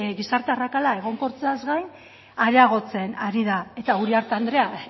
gizarte arrakala egonkortzeaz gain areagotzen ari da eta uriarte andrea